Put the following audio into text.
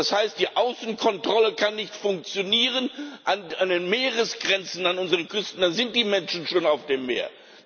Das heißt, die Außenkontrolle kann nicht funktionieren an den Meeresgrenzen, an unseren Küsten, dann sind die Menschen schon auf dem Meer.